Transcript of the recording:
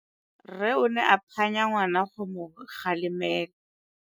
Rre o ne a phanya ngwana go mo galemela.